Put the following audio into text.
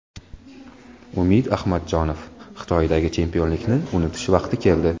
Umid Ahmadjonov: Xitoydagi chempionlikni unutish vaqti keldi.